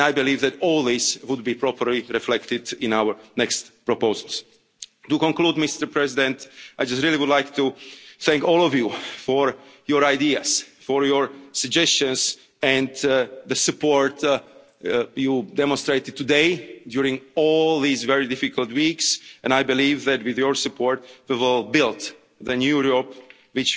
States. And I believe that all these would be properly reflected in our next proposals. To conclude, I just really would like to thank all of you for your ideas, for your suggestions and the support you demonstrated today, during all these very difficult weeks, and I believe that with your support we will build the new Europe,